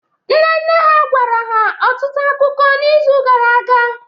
Nne nne ha gwara ha ọtụtụ akụkọ n’izu gara aga